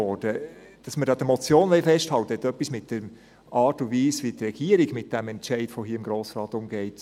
Dass wir an der Motion festhalten wollen, hat etwas mit der Art und Weise zu tun, wie die Regierung mit diesem Entscheid des Grossen Rates hier umgeht.